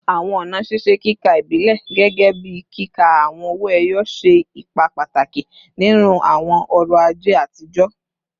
Awọn ọna ṣiṣe kika ibilẹ, gẹgẹbi kika awọn owo eyo, ṣe ipa pataki ninu awọn ọrọ-aje atijọ